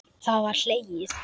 Það er hlegið.